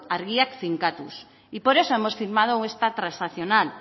handiak finkatuz y por eso hemos firmado esta transaccional